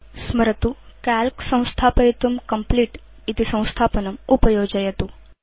स्मरतु संस्थापनसमये Calc install कर्तुं कम्प्लीट इति संस्थापनम् उपयोजयतु